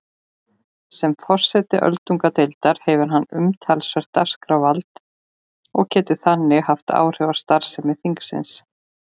Sem forseti öldungadeildarinnar hefur hann umtalsvert dagskrárvald og getur þannig haft áhrif á starfsemi þingsins.